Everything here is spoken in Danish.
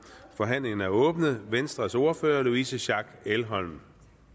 forhandlingen er åbnet venstres ordfører louise schack elholm